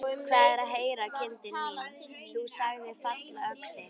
Hvað er að heyra, kindin mín, þú sagðir fallöxi.